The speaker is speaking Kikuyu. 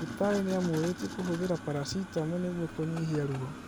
Ndagĩtarĩ nĩamũrĩtie kũhũthĩra paracitamo nĩguo kũnyihia ruo